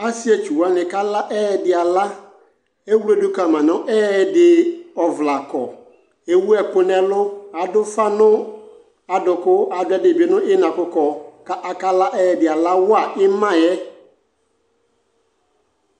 ɔsiiɛ twʋ wani kala ɛdi ala, ɛwlɛdʋ kama nʋ ɛdi ɔvlɛ akɔ, ɛwʋ ɛkʋ nʋ ɛlʋ, adʋ ʋƒa nʋ adʋkʋ adʋ ɛdibi nʋ inafɔkɔ kʋ aka la ɛdi ala wa imaɛ